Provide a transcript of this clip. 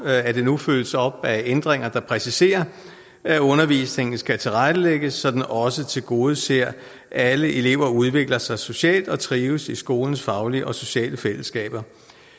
at det nu følges op af ændringer der præciserer at undervisningen skal tilrettelægges så den også tilgodeser at alle elever udvikler sig socialt og trives i skolens faglige og sociale fællesskaber